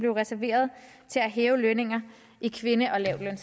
reserveret til at hæve lønningerne i kvinde